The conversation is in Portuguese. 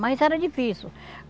Mas era difícil.